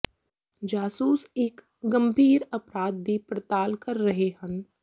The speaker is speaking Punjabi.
ਜਾਸੂਸ ਇੱਕ ਗੰਭੀਰ ਅਪਰਾਧ ਦੀ ਪੜਤਾਲ ਕਰ ਰਹੇ ਹਨ